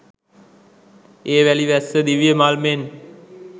ඒ වැලි වැස්ස දිව්‍ය මල් මෙන්